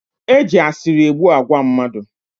E ji asịrị egbu agwa mmadụ